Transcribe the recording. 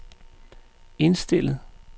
indstillet